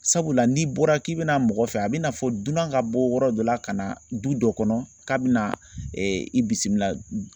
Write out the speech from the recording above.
Sabula n'i bɔra k'i bɛna mɔgɔ fɛ a bina fɔ dunan ka bɔ yɔrɔ dɔ la ka na du dɔ kɔnɔ k'a bina i bisimila